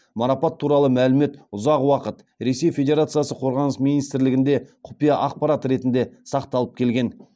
марапат туралы мәлімет ұзақ уақыт ресей федерациясы қорғаныс министрлігінде құпия ақпарат ретінде сақталып келген